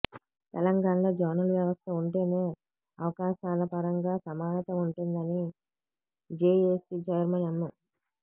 తెలంగాణలో జోనల్ వ్యవస్థ ఉంటేనే అవకాశాలపరంగా సమానత ఉంటుందని జేఏసీ చైర్మన్ ఎం